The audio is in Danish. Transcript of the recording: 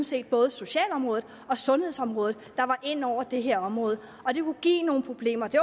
set både socialområdet og sundhedsområdet der var inde over det her område og det kunne give nogle problemer det